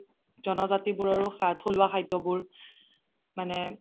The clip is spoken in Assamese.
জন জাতিৰবোৰও থলুৱা খাদ্যবোৰ মানে